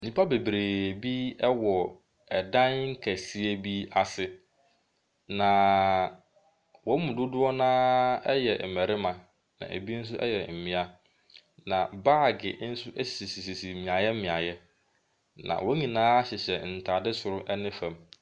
Nnipa bebree wɔ dan kɛse bi ase. Na wɔn mu dodoɔ no ara yɛ mmarima. Na ebi nso yɛ mmea. Na baage nso sisisisi mmeaeɛ mmeaeɛ. Na wɔn nyinaahyehyɛ ntaade soro ne fam.